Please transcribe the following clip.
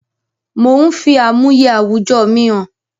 Mò ń fi àmúyẹ àwùjọ mi hàn